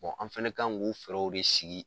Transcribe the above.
an fɛnɛ kan ŋ'o fɛɛrɛw de sigi